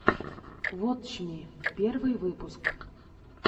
вотч ми первый выпуск